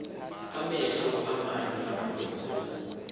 amehlo aamanye amadoda